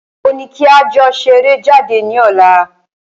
Ó ní kí a jọ ṣeré jáde ní ọ̀la.